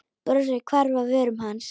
Brosið hvarf af vörum hans.